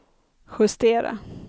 justera